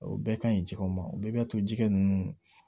O bɛɛ ka ɲi jɛgɛw ma o bɛɛ b'a to jɛgɛ ninnu